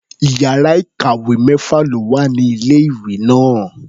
Iyàrá ìkàwé mẹ́fà ló wà ní ilé-ìwé náà.